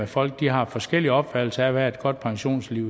folk har forskellige opfattelser af hvad et godt pensionistliv